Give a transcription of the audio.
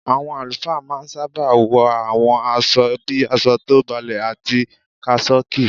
Àwọn àlùfáà ma ń sábà wọ àwọn aṣọ bíi aṣọ tó balẹ̀ àti kásọ́ọ̀kì.